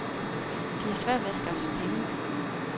De har svært ved at skaffe penge.